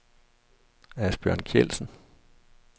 Asbjørn Kjeldsen